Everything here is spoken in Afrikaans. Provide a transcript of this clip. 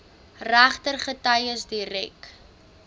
regter getuies direk